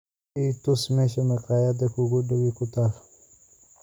i tus meesha maqaayadda kuugu dhowi ku taal